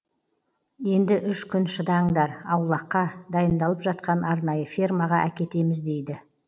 енді үш күн шыдаңдар аулаққа дайындалып жатқан арнайы фермаға әкетеміз дейді